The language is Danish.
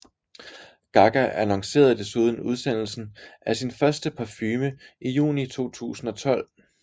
Gaga annoncerede desuden udsendelsen af sin første parfume i juni 2012